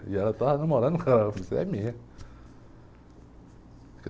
E ela estava namorando um cara, eu falei, você é minha.